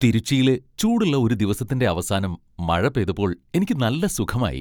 തിരുച്ചിയിലെ ചൂടുള്ള ഒരു ദിവസത്തിന്റെ അവസാനം മഴ പെയ്തപ്പോൾ എനിക്ക് നല്ല സുഖമായി.